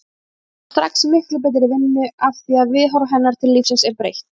Hún fær strax miklu betri vinnu afþvíað viðhorf hennar til lífsins er breytt.